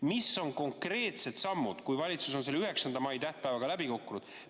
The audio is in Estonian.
Mis on konkreetsed sammud, kui valitsus on selle 9. mai tähtpäevaga läbi kukkunud?